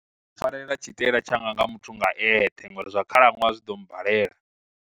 Pfarela tshi taela tshanga tsha muthu nga eṱhe ngori zwa khalaṅwaha zwiḓombalela.